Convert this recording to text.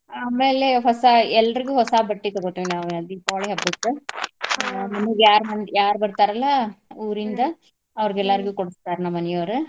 ಆಮೇಲೆ ಹೊಸಾ ಎಲ್ಲರ್ಗು ಹೊಸಾ ಬಟ್ಟಿ ತೂಗೋತೀವ್ ನಾವ್ ದೀಪಾವಳಿ ಹಬ್ಬಕ್ಕ ಅ ಮನೀಗ್ ಯಾರ್ ಮಂ~ ಯಾರ್ ಬರ್ತರಲ್ಲ ಊರಿಂದ ಅವ್ರಗ್ ಎಲ್ಲಾರ್ಗೂ ಕೊಡ್ಸ್ತಾರ ನಮ್ ಮನಿಯೋರು.